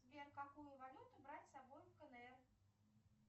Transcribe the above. сбер какую валюту брать с собой в кнр